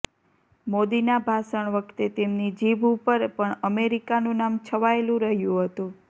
મોદીના ભાષણ વખતે તેમની જીભ ઉપર પણ અમેરિકાનું નામ છવાયેલું રહ્યું હતું